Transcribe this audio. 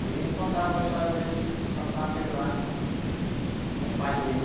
E contavam a história deles quando nasceram lá com, com os pais deles.